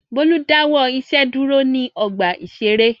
Bólú dáwọ́ iṣẹ́ dúró ní ọgbà-ìṣeré.